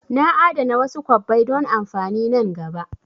Na a'dana wasu kwabbai don amfani nan gaba